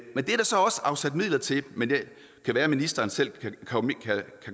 men det er der så også afsat midler til men det kan være at ministeren selv kan komme